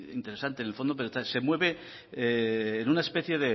interesante en el fondo pero se mueve en una especie